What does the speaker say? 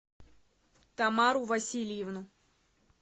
тамару васильевну